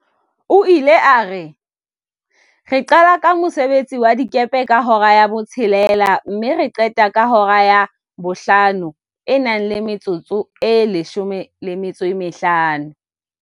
O ile a re, "re qala ka mosebetsi wa dikepe ka hora ya 06:00 mme re qete ka hora ya 17:50."